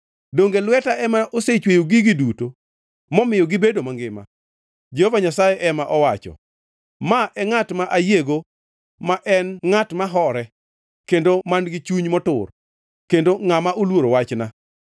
Donge lweta ema osechweyo gigi duto momiyo gibedo mangima?” Jehova Nyasaye ema owacho. “Ma e ngʼat ma ayiego ma en ngʼat ma hore kendo man-gi chuny motur, kendo ngʼama oluoro wachna.